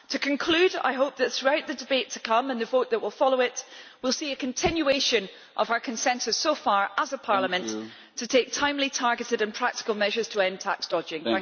To conclude, I hope that, throughout the debate to come and the vote that will follow it, we will see a continuation of our consensus so far, as a parliament, to take timely, targeted and practical measures to end tax dodging.